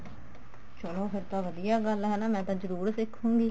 ਚਲੋ ਫ਼ੇਰ ਤਾਂ ਵਧੀਆ ਗੱਲ ਆ ਹਨਾ ਮੈਂ ਤਾਂ ਜਰੂਰ ਸਿੱਖੁਗੀ